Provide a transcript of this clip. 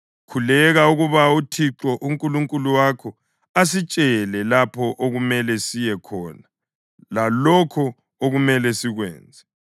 Khuleka ukuba uThixo uNkulunkulu wakho asitshele lapho okumele siye khona lalokho okumele sikwenze.”